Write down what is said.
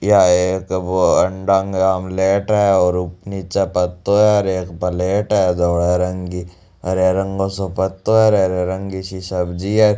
या एक बो अंडा को आमलेट है नीचे पत्तों हैऔर एक प्लेट है धोले रंग की हरे रंग को सो पत्तों है हरी रंग की सी सब्जी है।